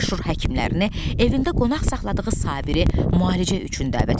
Məşhur həkimlərini evində qonaq saxladığı Sabiri müalicə üçün dəvət edir.